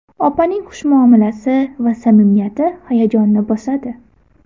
Opaning xush muomalasi va samimiyati hayajonni bosadi.